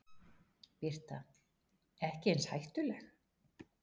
Birta: Ekki eins hættuleg?